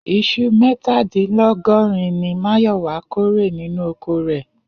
Is̩u mé̩tàdínló̩gó̩rin ni Máyò̩wá kórè nínú oko rè̩